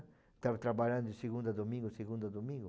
Estava trabalhando de segunda a domingo, segunda a domingo.